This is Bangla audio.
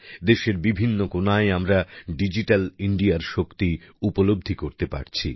দেশের বিভিন্ন কোণায় আমরা ডিজিটাল ইন্ডিয়ার শক্তি উপলব্ধি করতে পারছি